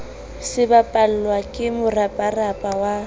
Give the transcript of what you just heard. se sebapallwa ke moraparapa wa